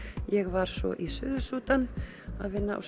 ég var svo í Suður Súdan að vinna á